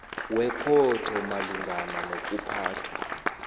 wekhotho malungana nokuphathwa